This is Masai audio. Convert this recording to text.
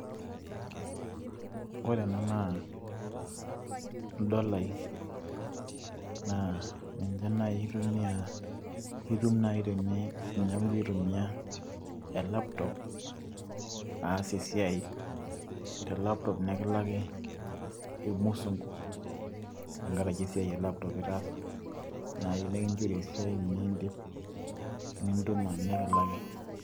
ore ena naa idolai. naa ninche naaji aitumia, itum naaji teneeku igira aitumia,e laptop aas esiai te laptop nikilakini irmusunku te nkaraki esiai e laptop itaasa, naaji nikinchori esiai nidip nintuma nikilaki.